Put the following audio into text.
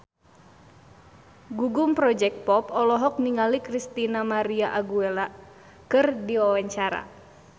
Gugum Project Pop olohok ningali Christina María Aguilera keur diwawancara